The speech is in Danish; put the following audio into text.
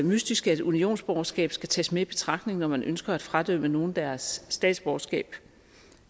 mystisk at unionsborgerskab skal tages med i betragtning når man ønsker at fradømme nogen deres statsborgerskab